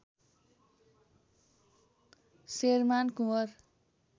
Sherman Kunwar